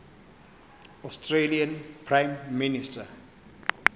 australian prime minister